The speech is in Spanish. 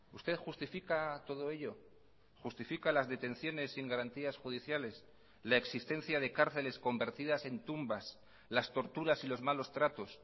usted justifica todo ello justifica las detenciones sin garantías judiciales la existencia de cárceles convertidas en tumbas las torturas y los malos tratos